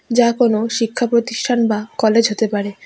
যা কোনো শিক্ষাপ্রতিষ্ঠান বা কলেজ হতে পারে।